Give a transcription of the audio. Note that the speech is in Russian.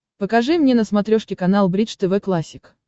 покажи мне на смотрешке канал бридж тв классик